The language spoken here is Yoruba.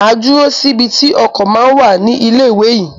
Máa dúró síbi tí ọkọ̀ ma ń wà ní ilé ìwé yín.